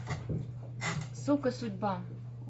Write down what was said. сука судьба